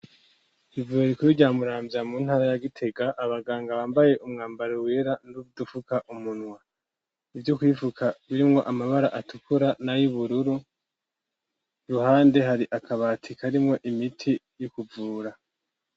Ivuriro rikuru rya Muramvya mu ntara ya Gitega, abaganga bambaye umwambaro wera n'udufuka umunwa, ivyo kwifuka birimwo amabara atukura n'ayubururu, iruhande hari akabati karimwo imiti y'ukuvura.